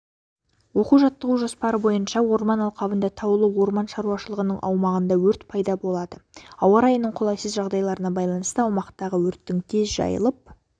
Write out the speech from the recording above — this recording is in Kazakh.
оқу-жаттығу жоспары бойынша орман алқабындағы таулы орман шаруашылығының аумағында өрт пайда болады ауа райының қолайсыз жағдайларына байланысты аумақтағы өрттің тез жайылып